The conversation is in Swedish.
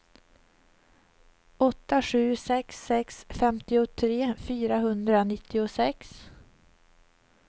åtta sju sex sex femtiotre fyrahundranittiosex